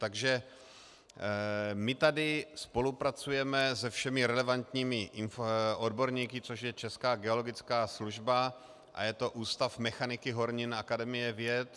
Takže my tady spolupracujeme se všemi relevantními odborníky, což je Česká geologická služba a je to Ústav mechaniky hornin Akademie věd.